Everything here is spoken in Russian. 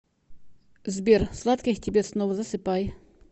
сбер сладких тебе снов засыпай